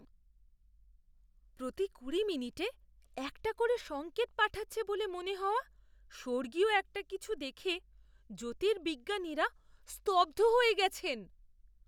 প্রতি কুড়ি মিনিটে একটা করে সঙ্কেত পাঠাচ্ছে বলে মনে হওয়া স্বর্গীয় একটা কিছু দেখে জ্যোতির্বিজ্ঞানীরা স্তব্ধ হয়ে গেছেন।